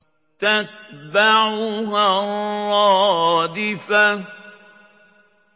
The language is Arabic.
تَتْبَعُهَا الرَّادِفَةُ